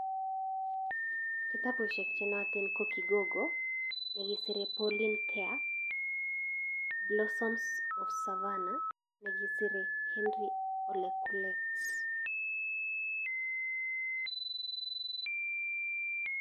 Kitabusiek che nootin ko Kigogo, ne kisire Pauline Kea, Blossoms of Savannah, nekisire Hentry Ole Kulet.